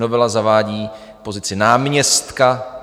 Novela zavádí pozici náměstka.